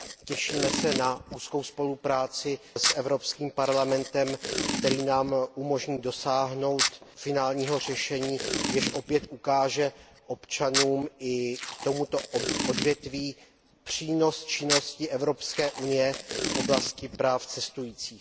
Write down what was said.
Těšíme se na úzkou spolupráci s Evropským parlamentem, která nám umožní dosáhnout finálního řešení, jež opět ukáže občanům i tomuto odvětví přínos činnosti Evropské unie v oblasti práv cestujících.